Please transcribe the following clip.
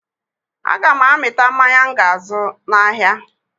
Aga m amịta mmanya m ga-azụ n'ahịa